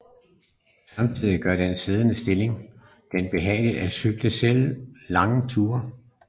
Samtidigt gør den siddende stilling det behageligt at cykle selv længere ture